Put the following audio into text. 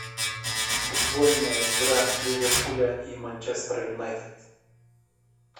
футбольная игра ливерпуля и манчестера юнайтед